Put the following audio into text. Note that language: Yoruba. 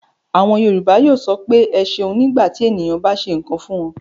Àwọn Yorùbá yóò sọ pé "ẹ ṣeun" nígbà tí ènìyàn bá ṣe nǹkan fún wọn.